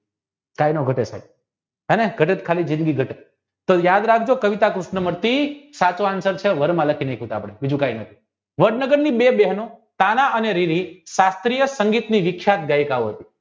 કાયનો હતો સાહેબ તો યાદ રાખજો કવિતા કૃષ્ણ મૂર્તિ સાચો answer છે વર્મા લખી બીજું કય નથી વડનગરની બે બહેનો તાના અને રીવી સાત્રિય સંગીતની